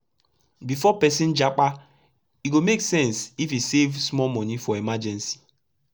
before persin japa e go make sense if e save small moni for emergency